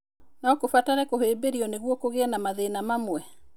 No kũbatare kũhĩmbĩrio nĩguo kũgĩe na mathĩna mamwe.